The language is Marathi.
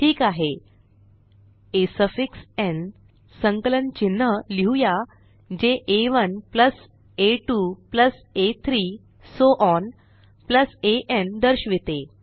ठीक आहे आ सफिक्स न् संकलन चिन्ह लिहुया जे आ1 आ2 आ3 सो ओन अन दर्शविते